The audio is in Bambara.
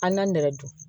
An na nɛrɛ dun